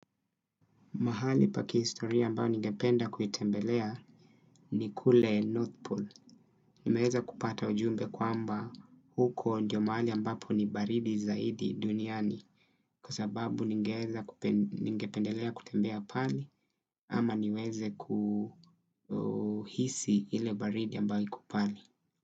Mahali pa kihistoria ambao ningeependa kuitembelea ni kule North Pole. Nimeweza kupata ujumbe kwamba huko ndio mahali ambapo ni baridi zaidi duniani. Kwa sababu ningeweza kupendelea kutembelea pale ama niweze kuhisi ile baridi ambayo iko pale.